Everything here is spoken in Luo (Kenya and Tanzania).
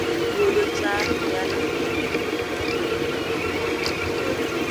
Puodho cham nyalo miyo jopur modhier obed gi ngima maber